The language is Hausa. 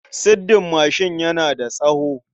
Siddin mashin yana da tsawo.